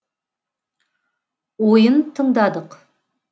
ойын тыңдадық